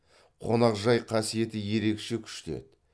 қонақжай қасиеті ерекше күшті еді